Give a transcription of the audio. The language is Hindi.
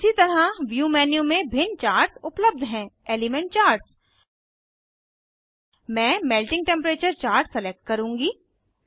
इसी तरह व्यू मेन्यू में भिन्न चार्ट्स उपलब्ध हैं एलिमेंट चार्ट्स मैं मेल्टिंग टेम्परेचर चार्ट सलेक्ट करुँगी